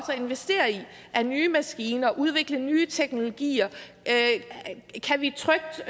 at investere i af nye maskiner og det at udvikle nye teknologier kan vi trygt